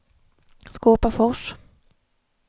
Skåpafors